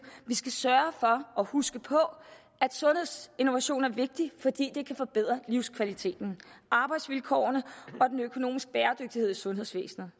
vi skal sørge for og huske på at sundhedsinnovation er vigtigt fordi det kan forbedre livskvaliteten arbejdsvilkårene og den økonomiske bæredygtighed i sundhedsvæsenet